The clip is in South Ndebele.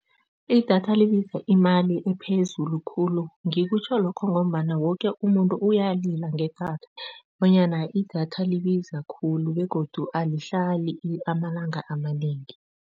Idatha libiza imali ephezulu khulu ngikutjho lokho ngombana woke umuntu uyalila ngedatha, bonyana idatha libiza khulu begodu alihlali amalanga amanengi.